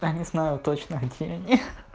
я не знаю точно какие они